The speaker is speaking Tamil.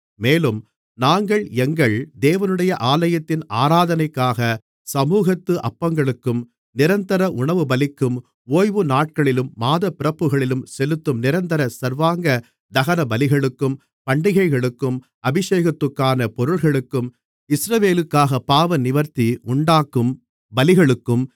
மேலும் நாங்கள் எங்கள் தேவனுடைய ஆலயத்தின் ஆராதனைக்காக சமுகத்து அப்பங்களுக்கும் நிரந்தர உணவுபலிக்கும் ஓய்வு நாட்களிலும் மாதப்பிறப்புகளிலும் செலுத்தும் நிரந்தர சர்வாங்க தகனபலிகளுக்கும் பண்டிகைகளுக்கும் அபிஷேகத்துக்கான பொருள்களுக்கும் இஸ்ரவேலுக்காகப் பாவநிவிர்த்தி உண்டாக்கும் பலிகளுக்கும்